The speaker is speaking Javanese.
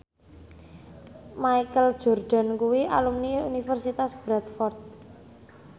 Michael Jordan kuwi alumni Universitas Bradford